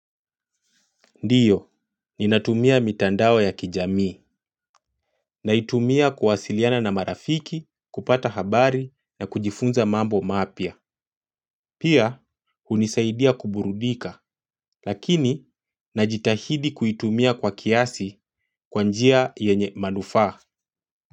Ndiyo, ninatumia mitandao ya kijamii, naitumia kuwasiliana na marafiki, kupata habari na kujifunza mambo mapya. Pia, hunisaidia kuburudika, lakini najitahidi kuitumia kwa kiasi kwa njia yenye manufaa.